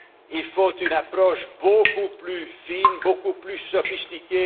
est révolue. Il faut une approche beaucoup plus fine et beaucoup plus sophistiquée.